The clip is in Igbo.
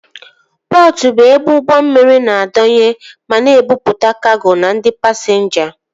Pọtụ bụ ebe ụgbọ mmiri na-adọnye ma na-ebupụta kago na ndị pasinja